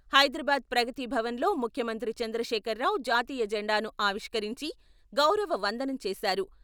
హైదరాబాద్ ప్రగతి భవన్లో ముఖ్యమంత్రి చంద్రశేఖర్ రావు జాతీయ జెండాను ఆవిష్కరించి గౌరవ వందనం చేశారు.